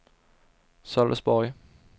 Sölvesborg